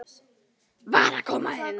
VAR AÐ KOMA INN!